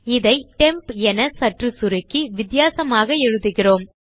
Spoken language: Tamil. இதை டெம்ப் என சற்று சுருக்கி வித்தியாசமாக எழுதுகிறோம்